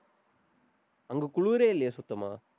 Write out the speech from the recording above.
அங்க குளிரே இல்லையே சுத்தமா?